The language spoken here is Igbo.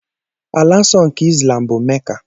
Ala nsọ nke Izlam bụ Meka.